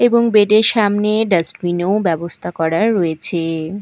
এবং বেড -এর সামনে ডাস্টবিন -এও ব্যবস্থা করা রয়েছে।